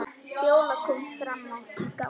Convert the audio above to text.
Fjóla kom fram í gang.